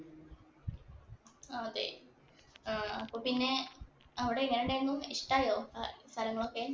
അതെ, അപ്പൊ പിന്നെ അവിടെ എങ്ങനെയുണ്ടായിരുന്നു. ഇഷ്ടായോ സ്ഥലങ്ങളൊക്കെ.